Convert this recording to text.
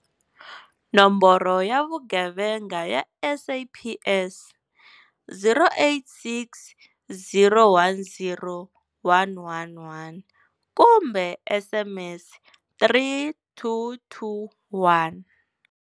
Nomboro ya Vugevenga ya SAPS- 0860 10111 kumbe SMS 3221.